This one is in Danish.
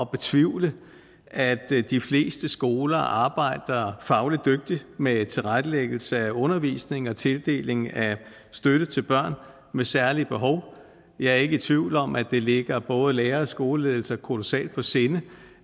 betvivle at de fleste skoler arbejder fagligt dygtigt med tilrettelæggelse af undervisningen og tildeling af støtte til børn med særlige behov jeg er ikke i tvivl om at det ligger både lærere og skoleledelser kolossalt på sinde